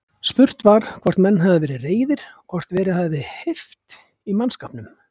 Spurt var, hvort menn hefðu verið reiðir og hvort verið hefði heift í mannskapnum?